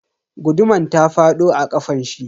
Guduman ta fado a kafanshi.